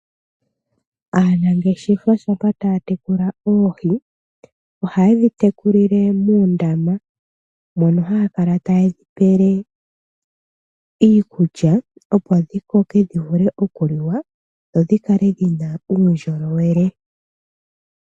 Aanangeshefa shampa taya tekula oohi, oha yedhi tekulile muundama, mono haya kala ta yedhi pele iikulya, opo dhi koke dhi vule okuliwa, dho dhikale dhina uundjolowele.